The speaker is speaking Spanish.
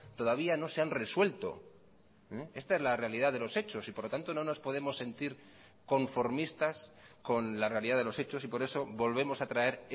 todavía no se han resuelto esta es la realidad de los hechos y por lo tanto no nos podemos sentir conformistas con la realidad de los hechos y por eso volvemos a traer